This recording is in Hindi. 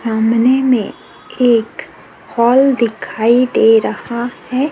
सामने में एक हॉल दिखाई दे रहा हैं।